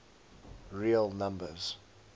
real numbers